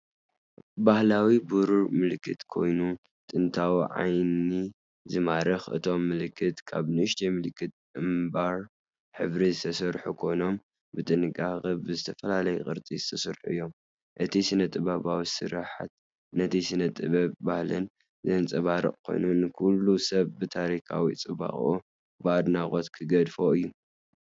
ባህላዊ ብሩር ምልክት ኮይኑ ጥንታዊን ዓይኒ ዝማርኽን፣ እቶም ምልክት ካብ ንኣሽቱ ምልክት ኣምባር ሕብሪ ዝተሰርሑ ኮይኖም ብጥንቃቐ ብዝተፈላለየ ቅርጺ ዝተሰርሑ እዮም። እቲ ስነ-ጥበባዊ ስርሓት ነቲ ስነ-ጥበብን ባህልን ዘንጸባርቕ ኮይኑ፡ ንኹሉ ሰብ ብታሪኻዊ ጽባቐኡ ብኣድናቖት ክገድፎ እዩ!